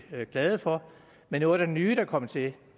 glade for men noget af det nye der er kommet til